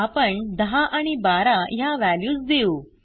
आपण 10 आणि 12 ह्या व्हॅल्यूज देऊ